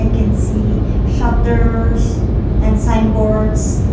we can see shutters and sign boards.